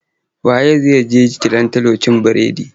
Wa ye zai je cilantro cin bredi?